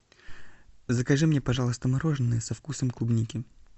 закажи мне пожалуйста мороженое со вкусом клубники